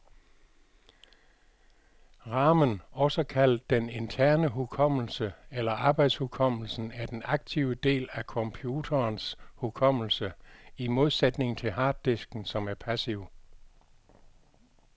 Ramen, også kaldet den interne hukommelse eller arbejdshukommelsen, er den aktive del af computerens hukommelse, i modsætning til harddisken, som er passiv.